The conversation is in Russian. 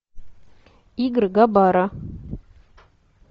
игры габара